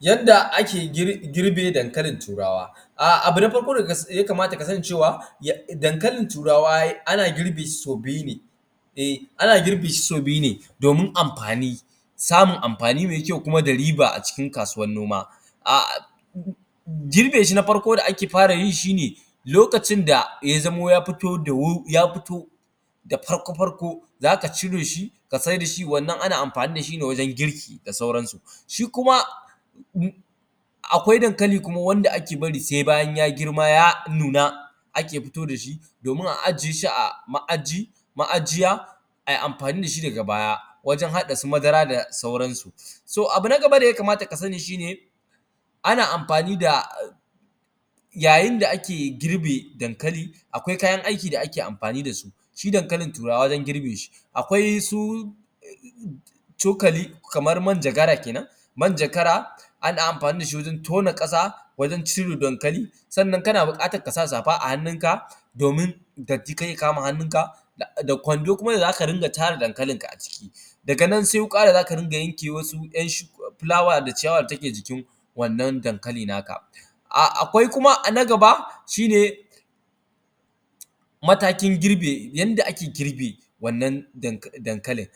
Yanda ake girbin dankalin turawa. Abu na farko da ya kamata ka sani cewa, dankalin turawa ana girbe shi sau biyu ne, eh ana girbe shi sau biyu ne domin amfani, samun amfani mai kyau kuma da riba acikin noma. Ah, girbe shin a farko da ake fara yi shi ne, lokacin da ya zamo ya fito da wu, ya fito farko-farko, za ka cire shi ka saida shi, wannan ana amfani da shi ne wajen girki da sauransu. Shi kuma, akwai dankali kuma wanda ake bari sai bayan ya girma ya nuna ake fito da shi, domin a ajiye shi a ma’ajiyi, ma’ajiya, a yi amfani da shi daga baya wajen haɗa su madara da sauransu. So, abu na gaba da ya kamata ka sani shi ne, ana amfani da, ya yin da ake girbe dankali, akwai kayan aiki da ake amfani da su. Shi dankalin turawa wajen girbe shi, akwai su cokali, kamar manjagara kenan, manjagara ana amfani da shi wajen tona ƙasa wajen cire dankali, sannan kana buƙatar ka sa safa a hannunka, domin datti kar ya kama hannunka, da kwando kuma da zaka dinga tara dankalinka aciki. Daga nan sai wuƙa da za ka dinga yanke wasu ‘yan shuk, fulawa da ciyawa da take jikin wannan dankali naka. Akwai kuma na gaba, shi ne matakin girbe, yanda ake girbe wannan dankalin.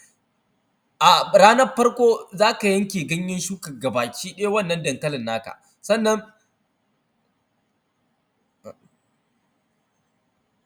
A’a ranar farko za ka yanke ganyen shuka ga baki ɗaya wannan dankalin na ka, sannan.